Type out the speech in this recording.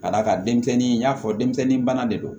Ka d'a kan denmisɛnnin in y'a fɔ denmisɛnnin bana de don